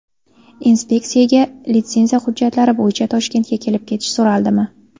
Inspeksiyaga litsenziya hujjatlari bo‘yicha Toshkentga kelib ketish so‘raldimi?